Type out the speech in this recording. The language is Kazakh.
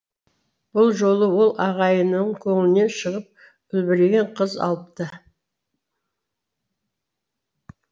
бұл жолы ол ағайынның көңілінен шығып үлбіреген қыз алыпты